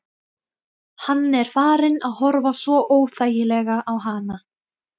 Hann er farinn að horfa svo óþægilega á hana.